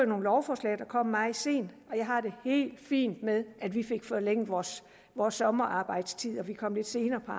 nogle lovforslag der kom meget sent jeg har det helt fint med at vi fik forlænget vores vores sommerarbejdstid og kom lidt senere på